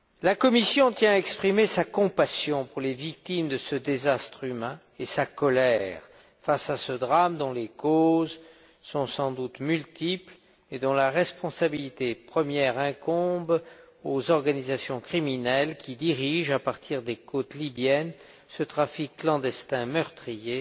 La Commission tient à exprimer sa compassion pour les victimes de ce désastre humain et sa colère face à ce drame dont les causes sont sans doute multiples et dont la responsabilité première incombe aux organisations criminelles qui dirigent, à partir des côtes libyennes, ce trafic clandestin meurtrier